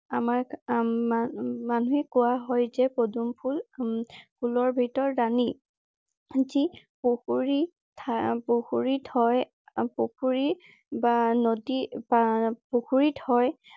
আমাক উম মানুহে কোৱা হয় যে পদুম ফুল উম ফুলৰ ভিতৰত ৰাণী। যি পুখুৰী ঠা পুখুৰীত হয়। পুখুৰী বা নদীত বা পুখুৰীত হয়।